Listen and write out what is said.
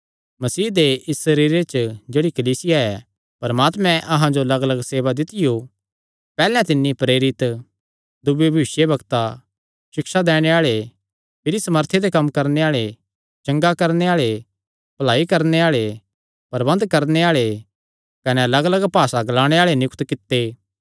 मसीह दे इस सरीरे च जेह्ड़ी कलीसिया ऐ परमात्मैं अहां जो लग्गलग्ग सेवा दित्तियो पैहल्ले तिन्नी प्रेरित दूये भविष्यवक्ता सिक्षा दैणे आल़े भिरी सामर्थी दे कम्म करणे आल़े चंगा करणे आल़े भलाई करणे आल़े प्रबन्ध करणे आल़े कने लग्गलग्ग भासा ग्लाणे आल़े नियुक्त कित्ते